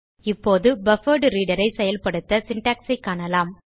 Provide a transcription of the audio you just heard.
இப்போது பஃபர்ட்ரீடர் ஐ செயல்படுத்த சின்டாக்ஸ் ஐ காணலாம்